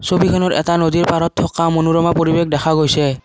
ছবিখনত এটা নদীৰ পাৰত থকা এটা মনোৰমা পৰিবেশ দেখা গৈছে।